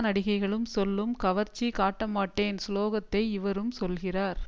நடிகைகளும் சொல்லும் கவர்ச்சி காட்டமாட்டேன் ஸ்லோகத்தை இவரும் சொல்கிறார்